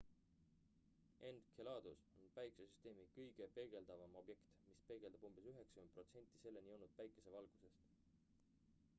enceladus on päikesesüsteemi kõige peegeldavam objekt mis peegeldab umbes 90 protsenti selleni jõudnud päikesevalgusest